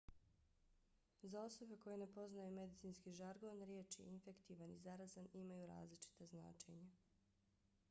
za osobe koje ne poznaju medicinski žargon riječi infektivan i zarazan imaju različita značenja